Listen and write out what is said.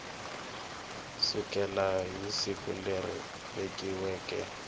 sukela hi siku leri vekiweke